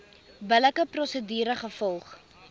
billike prosedure gevolg